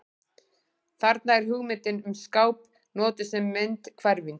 Þarna er hugmyndin um skáp notuð sem myndhverfing.